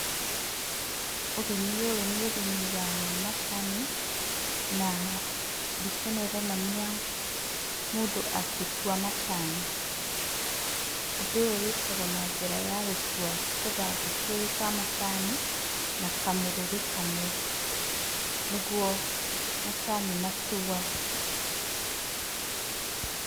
Ũrĩmi ũyũ nĩ ũrĩmi wa macani na mbica ĩno ĩronania mũndũ agĩtua macani. Ũndũ ũyũ wĩkagwo na njĩra ya gũtua tũthangũ twĩrĩ twa macani na kamũrũri kamwe. Nĩguo macani matuagwo.